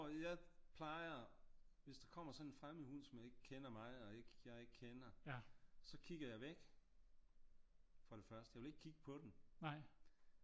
Jeg plejer hvis der kommer sådan en fremmed hund som ikke kender mig og jeg ikke kender så kigger jeg væk for det første jeg vil ikke kigge på den